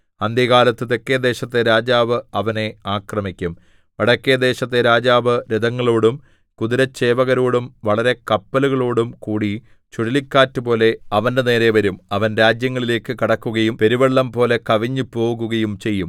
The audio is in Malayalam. അന്ത്യകാലത്ത് തെക്കെദേശത്തെ രാജാവ് അവനെ ആക്രമിക്കും വടക്കെദേശത്തെ രാജാവ് രഥങ്ങളോടും കുതിരച്ചേവകരോടും വളരെ കപ്പലുകളോടും കൂടി ചുഴലിക്കാറ്റുപോലെ അവന്റെനേരെ വരും അവൻ രാജ്യങ്ങളിലേക്ക് കടക്കുകയും പെരുവെള്ളംപോലെ കവിഞ്ഞ് പോകുകയും ചെയ്യും